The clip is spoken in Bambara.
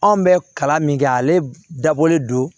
Anw bɛ kalan min kɛ ale dabɔlen don